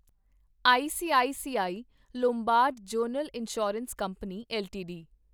ICICI Lombard general insurance company LTD